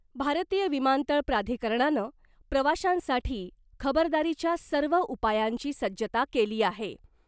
भारतीय विमानतळ प्राधिकरणानं प्रवाशांसाठी खबरदारीच्या सर्व उपायांची सज्जता केली आहे .